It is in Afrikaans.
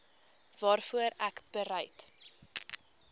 waarvoor ek bereid